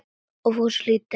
Og Fúsi hlýddi.